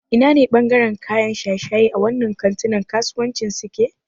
Ina ne ɓangaren kayan shaye-shaye a wannan kantunan kasuwancin suke?